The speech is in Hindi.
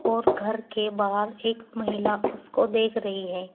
और घर के बाहर एक महिला उसको देख रही है।